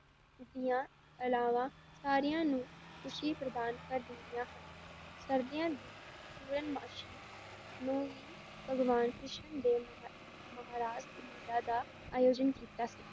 ਦੀਆਂ ਅਲਾਵਾਂ ਸਾਰਿਆਂ ਨੂੰ ਖ਼ੁਸ਼ੀ ਪ੍ਰਦਾਨ ਕਰ ਦਿੰਦੀਆਂ ਹਨ, ਸਰਦੀਆਂ ਦੀ ਪੂਰਨਮਾਸੀ ਨੂੰ ਹੀ ਭਗਵਾਨ ਕ੍ਰਿਸ਼ਨ ਦੇ ਮਹਾ~ ਮਹਾਰਾਜ ਦਾ ਅਯੋਜਨ ਕੀਤਾ ਸੀ